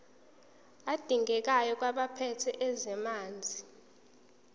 adingekayo kwabaphethe ezamanzi